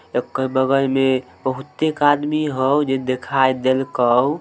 एकर बगल मे बहुतेक आदमी हो जे देखाई देलको।